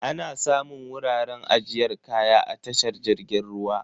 Ana samun wuraren ajiyar kaya a tashar jirgin ruwa.